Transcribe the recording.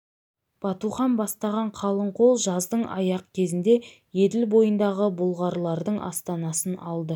батухан бастаған қалың қол жаздың аяқ кезінде еділ бойындағы бұлғарлардың астанасын алды